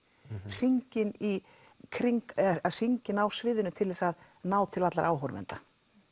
hringinn í kring hringinn á sviðinu til þess að ná til allra áhorfenda